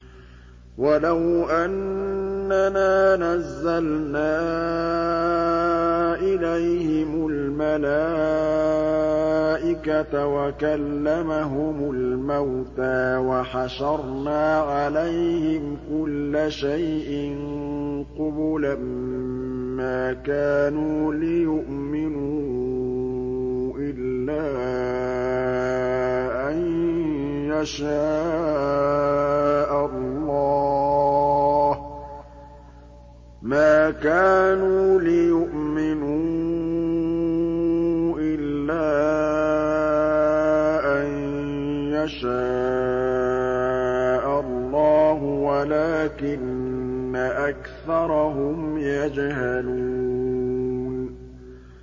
۞ وَلَوْ أَنَّنَا نَزَّلْنَا إِلَيْهِمُ الْمَلَائِكَةَ وَكَلَّمَهُمُ الْمَوْتَىٰ وَحَشَرْنَا عَلَيْهِمْ كُلَّ شَيْءٍ قُبُلًا مَّا كَانُوا لِيُؤْمِنُوا إِلَّا أَن يَشَاءَ اللَّهُ وَلَٰكِنَّ أَكْثَرَهُمْ يَجْهَلُونَ